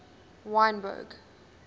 wynberg